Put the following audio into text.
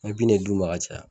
Me bin ne d'u ma ka caya